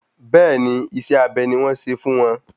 Bẹ́ẹ̀ni, isẹ́ abé ni wọ́n ṣe fún wọn